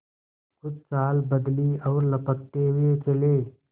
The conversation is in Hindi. कुछ चाल बदली और लपकते हुए चले